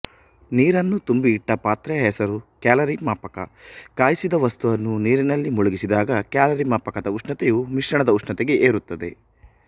ನೀರನ್ನು ತುಂಬಿ ಇಟ್ಟ ಪಾತ್ರೆಯ ಹೆಸರು ಕ್ಯಾಲರಿಮಾಪಕ ಕಾಯಿಸಿದ ವಸ್ತುವನ್ನು ನೀರಿನಲ್ಲಿ ಮುಳುಗಿಸಿದಾಗ ಕ್ಯಾಲರಿಮಾಪಕದ ಉಷ್ಣತೆಯೂ ಮಿಶ್ರಣದ ಉಷ್ಣತೆಗೆ ಏರುತ್ತದೆ